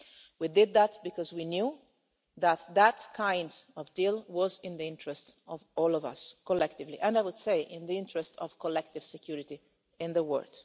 We did that because we knew that kind of deal was in the interest of all of us collectively and, I would say, in the interest of collective security in the world.